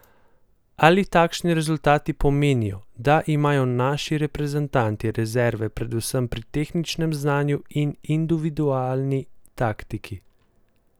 Ali takšni rezultati pomenijo, da imajo naši reprezentanti rezerve predvsem pri tehničnem znanju in individualni taktiki?